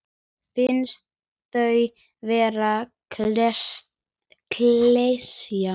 Finnst þau vera klisja.